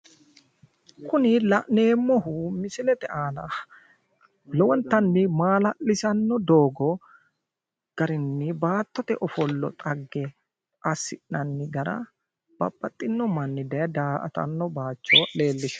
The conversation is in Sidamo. Kuni la'nneemohu misilete aanna lowontan maalallisano doogo garini baattote offolla gara dhagge asinanni gara babaxinomanni daye da'attano bayicho leellishshawo